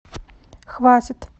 хватит